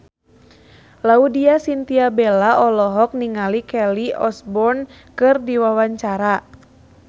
Laudya Chintya Bella olohok ningali Kelly Osbourne keur diwawancara